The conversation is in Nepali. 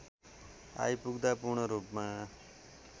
आइपुग्दा पूर्णरूपमा